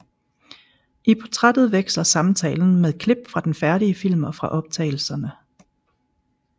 I portrættet veksler samtalen med klip fra den færdige film og fra optagelserne